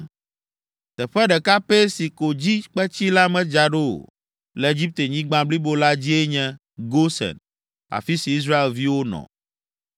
Teƒe ɖeka pɛ si ko dzi kpetsi la medza ɖo o, le Egiptenyigba blibo la dzie nye Gosen, afi si Israelviwo nɔ.